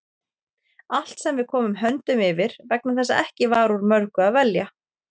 Allt sem við komum höndum yfir, vegna þess að ekki var úr mörgu að velja.